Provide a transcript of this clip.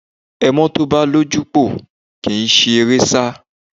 Ẹmọ́ tó bá ní ojúpòó kì í si eré sá